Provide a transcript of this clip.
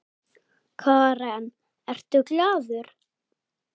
Karen: Ertu glaður?